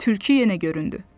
Tülkü yenə göründü.